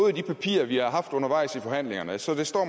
i de papirer vi har haft undervejs i forhandlingerne og så står